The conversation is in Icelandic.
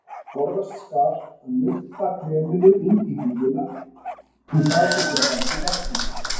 Forðast skal að nudda kreminu inn í húðina því það getur valdið ertingu.